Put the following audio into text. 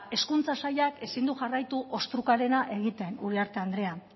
hezkuntza sailak ezin du jarraitu ostrukarena egiten uriarte andrea